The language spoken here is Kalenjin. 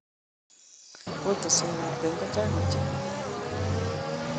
Kotoswe ab kenya ko chang ochei.